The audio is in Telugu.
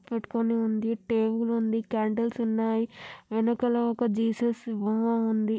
పట్టుకొని ఉంది టేబుల్ ఉంది కాండిల్స్ ఉన్నాయి వెనకాల ఒక జీసస్ బొమ్మ ఉంది.